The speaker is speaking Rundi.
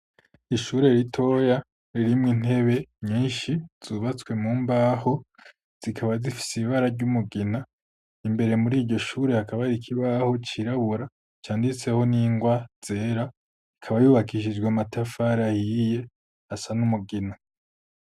Ishure ritoya rimwe intebe nyinshi zubatswe mu mbaho zikaba zifitse ibara ry'umugina imbere muri iryo shure akaba rikibaho cirabura canditseho n'ingwa zera ikaba yubakishijwe amatafari ahiye asa n'umugina.